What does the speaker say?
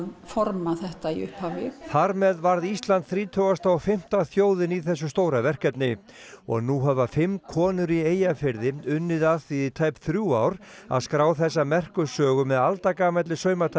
forma þetta í upphafi þar með varð Ísland þrítugast a og fimmta þjóðin í þessu stóra verkefni og nú hafa fimm konur í Eyjafirði unnið að því í tæp þrjú ár að skrá þessa merku sögu með aldagamalli